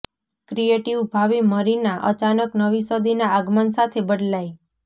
creative ભાવિ Marina અચાનક નવી સદીના આગમન સાથે બદલાઈ